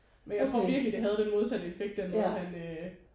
Men jeg tror virkelig det havde den modsatte effekt den måde han øh